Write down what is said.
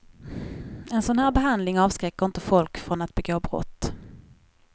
En sådan här behandling avskräcker inte folk från att begå brott.